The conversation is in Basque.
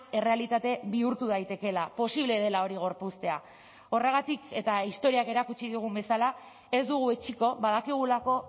errealitate bihurtu daitekeela posible dela hori gorpuztea horregatik eta historiak erakutsi digun bezala ez dugu etsiko badakigulako